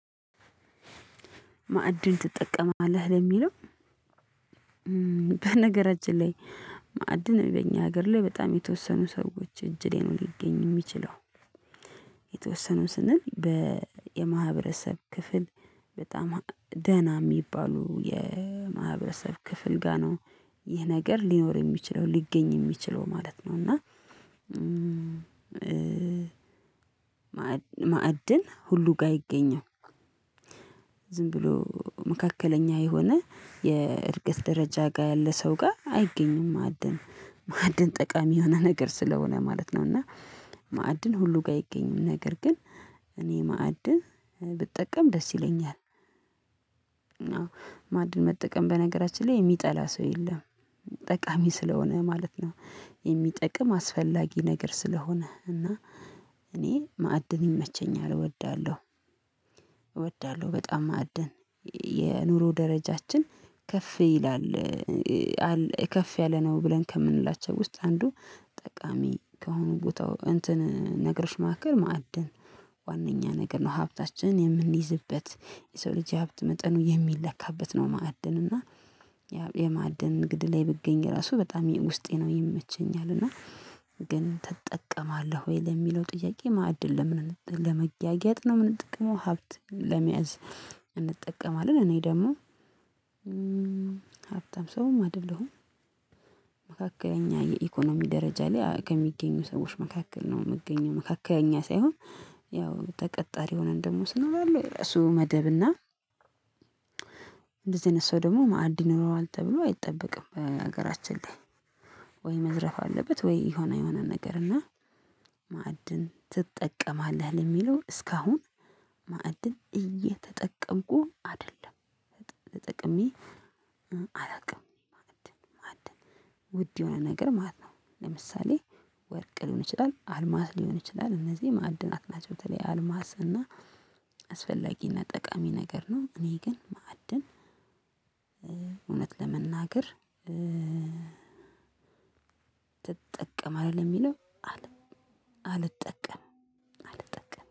ማዕድን ትጠቀማለህ ለሚለው በነገራችን ላይ ማዕድን በእኛ ሀገር ላይ በጣም የተወሰኑ ሰዎች እጅ ላይ ነው ሊገኝ የሚችለው። የተወሰኑ ስንል በየማህበረሰብ ክፍል በጣም ደህና የሚባሉ የማህበረሰብ ክፍል ጋር ነው ይህ ነገር ሊኖር የሚችለው ሊገኝ የሚችለው ማለት ነው። እና ማዕድን ሁሉ ጋር ይገኛል። ዝም ብሎ መካከለኛ የሆነ የእድገት ደረጃ ጋር ያለ ሰው ጋር አይገኝም ማዕድን ማዕድን ጠቃሚ የሆነ ነገር ስለሆነ ማለት ነው። እና ማዕድን ሁሉ ጋር አይገኝም ነገር ግን እኔ ማዕድ ብጠቀም ደስ ይለኛል። እና ማዕድን መጠቀም በነገራችን ላይ የሚጠላ ሰው የለም። ጠቃሚ ስለሆነ ማለት ነው የሚጠቅም አስፈላጊ ነገር ስለሆነ እና እኔ ማዕድን ይመቸኛል እወዳለሁ። እወዳለሁ በጣም ማዕድን የኑሮ ደረጃችን ከፍ ይላል ከፍ ያለ ነው ብለን ከምንላቸው ውስጥ አንዱ ጠቃሚ ከሆነ ቦታው እንትን ነግሮች መካከል ማዕድን ዋናኛ ነገር ነው ሀብታችን የምንይዝበት የሰው ልጅ የሀብት መጠኑ የሚለካበት ነው። ማዕድን እና የማዕድን እንግዲህ ላይ ብገኝ ራሱ በጣም ውስጤ ነው ይመቸኛል። እና ግን ትጠቀማለህ ወይ? ለሚለው ጥያቄ ማዕድን ለመጋጊያጥ ነው የምንጠቀመው ሀብት ለመያዝ እንጠቀማለን። እኔ ደግሞ ሀብታም ሰውም አይደለሁም። መካከለኛ የኢኮኖሚ ደረጃ ላይ ከሚገኙ ሰዎች መካከል ነው የምገኘው። መካከለኛ ሳይሆን ያው ተቀጣሪ ሆነን ደግሞ ስኖር አለ ራሱ መደብና እንደዚህ አይነት ሰው ደግሞ ማዕድን ይኖረዋል ተብሎ አይጠበቅም። በሀገራችን ላይ ወይ መዝረፍ አለበት ወይ የሆነ የሆነ ነገር እና ማዕድን ትጠቀማለህ? ለሚለው እስካሁን ማዕድን እየተጠቀምኩ አይደለም። ተጠቅሜሜ አላውቅም ውድ የሆነ ነገር ማለት ነው። ለምሳሌ ወርቅ ሊሆን ይችላል አልማዝ ሊሆን ይችላል እነዚህ ማዕድንናት ናቸው። በተለይ አልማዝ እና አስፈላጊና ጠቃሚ ነገር ነው። እኔ ግን ማዕድን እውነት ለመናገር ትጠቀማለህ የሚለው አልጠቀምም አልጠቀም